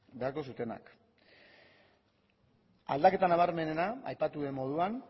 beharko zutenak aldaketa nabarmenena aipatu den moduan